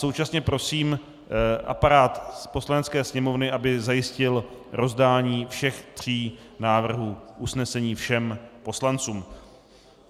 Současně prosím aparát Poslanecké sněmovny, aby zajistil rozdání všech tří návrhů usnesení všem poslancům.